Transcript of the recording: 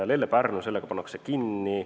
Lelle–Pärnu lõik pannakse kinni.